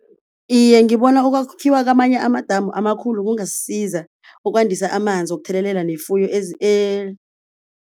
Iye ngibona ukwakhiwa kwamanye amadamu amakhulu kungasisiza ukwandisa amanzi wokuthelelela nefuyo